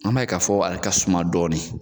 An m'a ye k'a fɔ ale ka suma dɔɔnin.